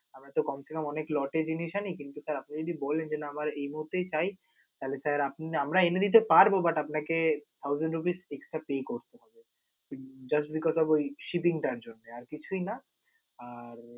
আমরা তো কমসেকম অনেক lot জিনিস আনি, কিন্তু sir আপনি যদি বলেন, যে না আমার এই মুহূর্তেই চাই তাহলে sir আপনে আমরাই এনে দিতে পারব but আপনাকে thousand rupee extra pay করতে হবে. just because of ওই shipping টার জন্য আর কিছুই না, আর